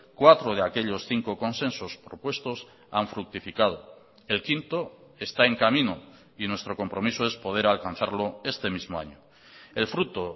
cuatro de aquellos cinco consensos propuestos han fructificado el quinto está en camino y nuestro compromiso es poder alcanzarlo este mismo año el fruto